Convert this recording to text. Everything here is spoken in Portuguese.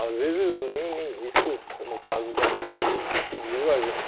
Às vezes, nem nem isso, como o caso da cê vê cê, que impediu a gente.